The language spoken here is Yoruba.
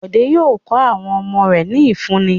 Bọ̀dé yóò kọ́ àwọn ọmọ rẹ̀ ní ìfúnni.